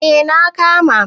eh na kama